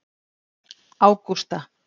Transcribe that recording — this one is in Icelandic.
Ágústa